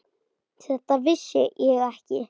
Þetta vissi ég ekki.